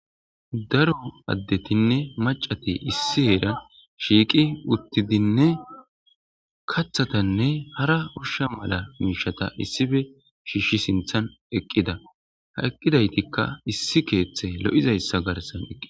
daro addetinne macati issi heeran shiiqi uttidinne kathatanne hara ursha mala miishata issife shiishshi sinthan eqqida ha eqqidaytikka issi keeththe lo7izayssa garsan eqqi